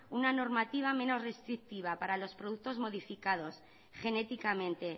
una normativa menos restrictiva para los productos modificados genéticamente